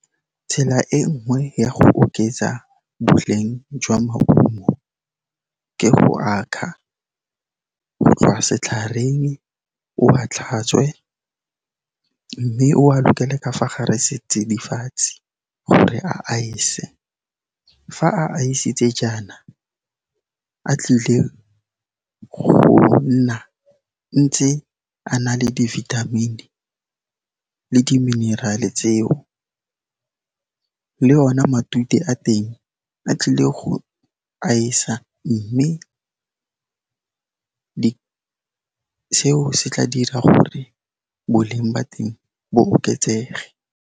Tsela e nngwe ya go oketsa boleng jwa maungo ke go a kga go tloga setlhareng, o a tlhatswe mme o a lokele ka fa gare setsidifatsi gore a ice-e. Fa a ice-tse jaana, a tlile go nna ntse a na le di-vithamini le di-mineral-e tseo le ona matute a teng a tlile go aesa, mme seo se tla dira gore boleng ba teng bo oketsege.